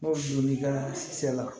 N'o donn'i ka se la